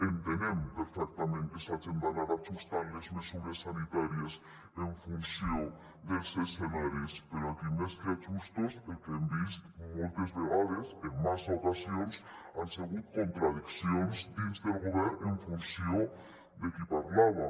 entenem perfectament que s’hagen d’anar ajustant les mesures sanitàries en funció dels escenaris però aquí més que ajustos el que hem vist moltes vegades en massa ocasions han segut contradiccions dins del govern en funció de qui parlava